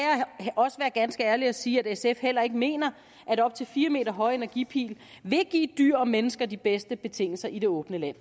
jeg også være ganske ærlig og sige at sf heller ikke mener at op til fire m høje energipil vil give dyr og mennesker de bedste betingelser i det åbne land